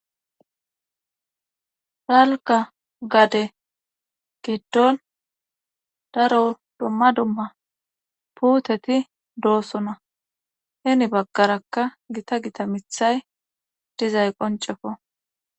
Dalgga gade geddon daro domma domma puuteti doosona heni baggarakka gita gita mithay dizay qoncefo.